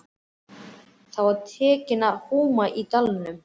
Þá var tekið að húma í dalnum.